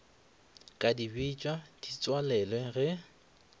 ka dibetša di tswalelwe ge